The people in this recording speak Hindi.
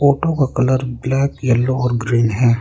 ऑटो का कलर ब्लैक येलो और ग्रीन है।